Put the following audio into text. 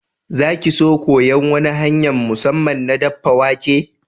Za ki so koyan wani hanya'n musamman na daffa wake?